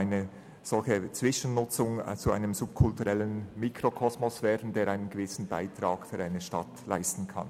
Eine solche Zwischennutzung kann durchaus zu einem subkulturellen Mikrokosmos werden, der einen gewissen Beitrag zum städtischen Leben leisten kann.